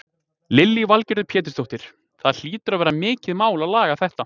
Lillý Valgerður Pétursdóttir: Það hlýtur að vera mikið mál að laga þetta?